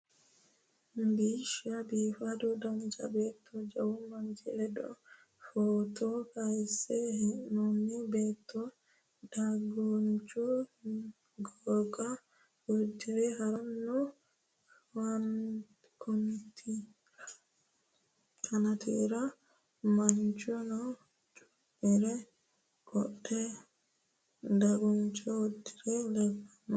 Biishsha biifado dancha beetto jawu manchi ledo footo kayinse hee'noonni beetto dagunchu goga uddidhe harancho kanitiira manchuno cuuphe qodhe daguncho uddire leellanno.